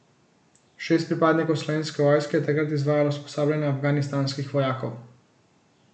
Šest pripadnikov slovenske vojske je takrat izvajalo usposabljanje afganistanskih vojakov.